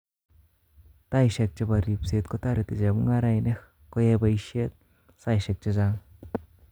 Taisheek chepo ripseet kotoreti chemungarainik koyai poisheet saishek chechang